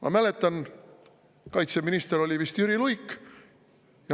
Ma mäletan, kaitseminister oli vist Jüri Luik.